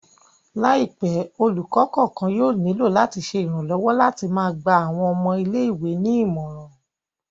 Laipẹ, olukọ kọọkan yóò nilo lati ṣe iranlọwọ lati máa gba awọn ọmọ ìlé-ìwé ni imọran